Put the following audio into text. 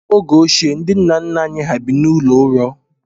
N'oge ochie, ndị nna nna anyị hà bi n'ụlọ ụrọ.